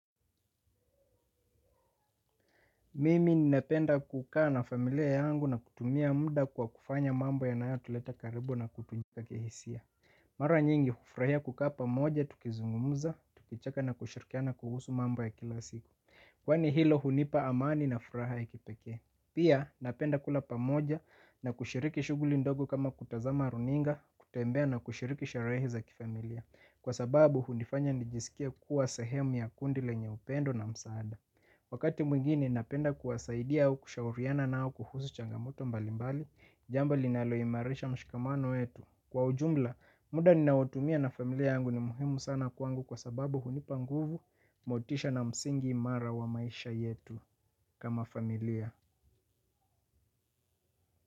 Mimi nipenda kukaa na familia yangu na kutumia munda kwa kufanya mambo ya naya tuleta karibu na kutunjika kihisia. Mara nyingi kufrahaia kukaa pamoja, tukizungumuza, tukicheka na kushirikiana kuhusu mambo ya kila siku. Kwa ni hilo hunipa amani na furaha ya kipeke. Pia napenda kula pamoja na kushiriki shuguli ndogo kama kutazama runinga, kutembea na kushiriki sharehe za kifamilia. Kwa sababu hunifanya nijisikie kuwa sahemu ya kundi lenye upendo na msaada. Wakati mwingine napenda kuwasaidia au kushauriana nao kuhusu changamoto mbalimbali, jambo li naloyimarisha mshikamano yetu. Kwa ujumla, muda ninaotumia na familia yangu ni muhimu sana kwangu kwa sababu hunipanguvu motisha na msingi imara wa maisha yetu kama familia.